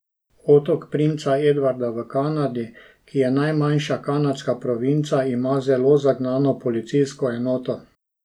Otok princa Edvarda v Kanadi, ki je najmanjša kanadska provinca, ima zelo zagnano policijsko enoto.